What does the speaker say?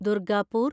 Durgapur